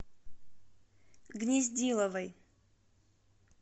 гнездиловой